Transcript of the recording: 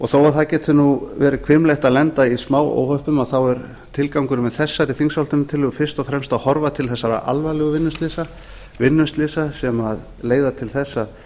þó að það geti verið hvimleitt að lenda í smáóhöppum þá er tilgangurinn með þessari þingsályktunartillögu fyrst og fremst að horfa til þessara alvarlegu vinnuslysa vinnuslysa sem leiða til þess að